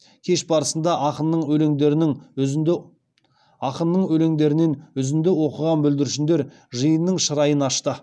кеш барысында ақынның өлеңдерінен үзінді оқыған бүлдіршіндер жиынның шырайын ашты